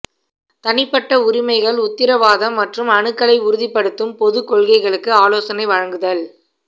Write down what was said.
தனிப்பட்ட உரிமைகள் உத்தரவாதம் மற்றும் அணுகலை உறுதிப்படுத்தும் பொது கொள்கைகளுக்கு ஆலோசனை வழங்குதல்